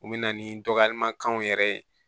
U bɛ na ni dɔgɔyamakanw yɛrɛ ye